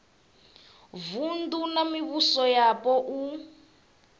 vunu na mivhuso yapo u